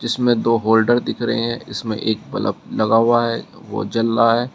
इसमें दो होल्डर दिख रहे हैं इसमें एक बल्ब लगा हुआ है वो जल रहा है।